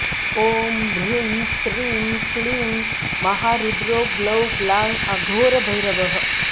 ॐ ह्रीं श्रीं क्लीं महारुद्रो ग्लौं ग्लां अघोरभैरवः